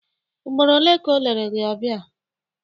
Ugboro ole ka o lere gị ọbịa?